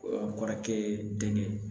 Kɔrɔkɛ ye denkɛ